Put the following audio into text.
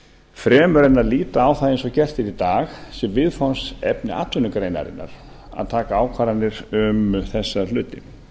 fremur en að líta á það eins og er er í dag sem viðfangsefni atvinnugreinarinnar að taka ákvarðanir um þessa hluti